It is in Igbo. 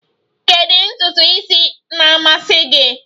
Kedu ntutu isi na-amasị gị?